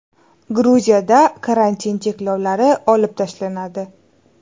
Gruziyada karantin cheklovlari olib tashlanadi.